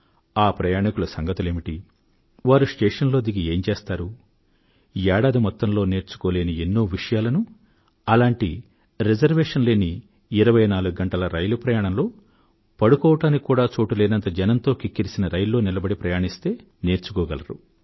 ఆ ప్రయాణీకుల సంగతులేమిటి వారు స్టేషన్లో దిగి ఏం చేస్తారు ఏడాది మొత్తంలో నేర్చుకోలేని ఎన్నో విషయాలను అలాంటి రిజర్వేషన్ లేని ఇరవైనాలుగు గంటల రైలు ప్రయాణంలో పడుకోవడానికి కూడా చోటు లేనంత జనంతో కిక్కిరిసిన రైల్లో నిలబడి ప్రయాణిస్తే నేర్చుకోగలరు